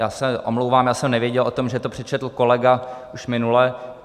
Já se omlouvám, já jsem nevěděl o tom, že to přečetl kolega už minule.